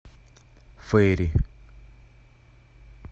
фейри